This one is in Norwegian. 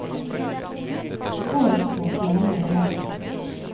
Det går ikke på å fjerne elementer.